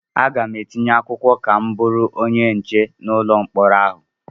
Aga m etinye akwụkwọ ka m bụrụ onye nche n'ụlọ mkpọrọ ahụ.